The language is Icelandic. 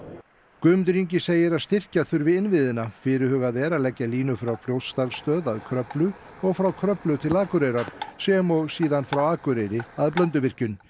Guðmundur Ingi segir að styrkja þurfi innviðina fyrirhugað er að leggja línu frá Fljótsdalsstöð að Kröflu og frá Kröflu til Akureyrar sem og síðan frá Akureyri að Blönduvirkjun